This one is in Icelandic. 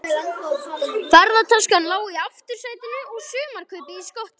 Ferðataskan lá í aftursætinu og sumarkaupið í skottinu.